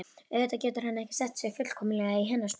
Auðvitað getur hann ekki sett sig fullkomlega í hennar spor.